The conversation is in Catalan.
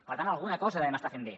per tant alguna cosa devem estar fent bé